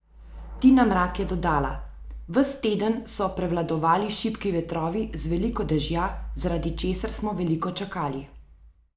Tina Mrak je dodala: "Ves teden so prevladovali šibki vetrovi z veliko dežja, zaradi česar smo veliko čakali.